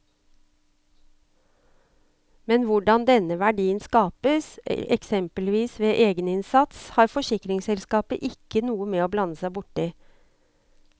Men hvordan denne verdien skapes, eksempelvis med egeninnsats, har forsikringsselskapet ikke noe med å blande seg borti.